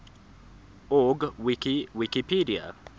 org wiki wikipedia